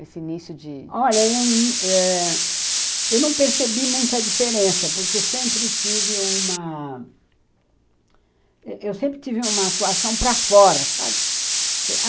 Esse início de... Olha, eu ãh não percebi muita diferença, porque eu sempre tive uma... Eu sempre tive uma atuação para fora, sabe?